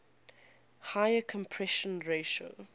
higher compression ratio